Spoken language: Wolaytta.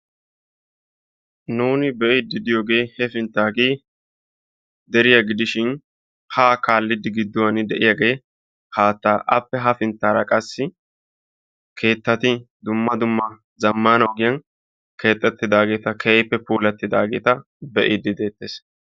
Nuuni be'iidi de'iyoogee hefinttaagee deriyaa gidishin haa kaallidi gidduwaan de'iyaagee haattaa. appe hafinttaara qassi keettati dumma dumma zammaana ogiyaan keexettidaageta be'iidi de'eettees.